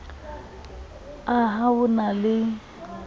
a ha ho na le